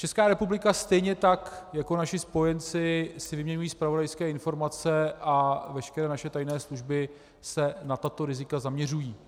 Česká republika stejně tak jako naši spojenci si vyměňují zpravodajské informace a veškeré naše tajné služby se na tato rizika zaměřují.